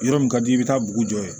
Yɔrɔ min ka di i bɛ taa dugu jɔ yen